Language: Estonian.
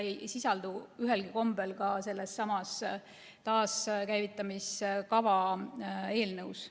See ei sisaldu ühelgi kombel ka sellessamas taaskäivitamiskava eelnõus.